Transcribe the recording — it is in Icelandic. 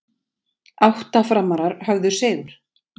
Átta Framarar höfðu sigur